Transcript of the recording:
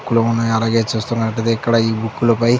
బుక్కులు ఉన్నాయి. అలాగే చూస్తున్నట్లయితే ఇక్కడ ఈ బుక్ లపై --